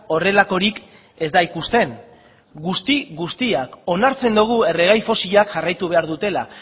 horrelakorik ez da ikusten guzti guztiak onartzen dugu erregai fosilak jarraitu behar dutela